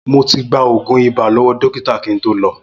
Mo ti gba òògùn ibà lọ́wọ́ dókítà kí n tó lọ